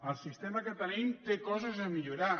el sistema que tenim té coses a millorar